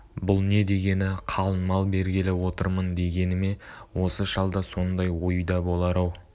бұл не дегені қалың мал бергелі отырмын дегені ме осы шалда сондай ой да болар-ау